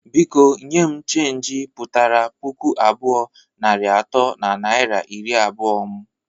Biko nye m cheenji putara puku abụọ, narị atọ na naira iri abụọ mụ!